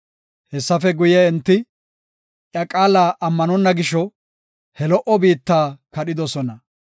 Hessafe guye, enti iya qaala ammanonna gisho, he lo77o biitta kadhidosona.